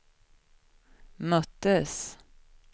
möttes